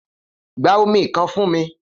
Gba omi kan fun mi!